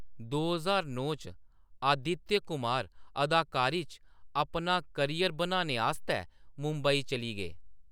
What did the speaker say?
दो ज्हार नौ च, आदित्य कुमार अदाकारी च अपना करियर बनाने आस्तै मुंबई चली गे।